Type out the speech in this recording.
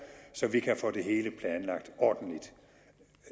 så vi kan få det hele planlagt ordentligt